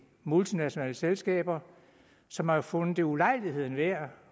multinationale selskaber som har fundet det ulejligheden værd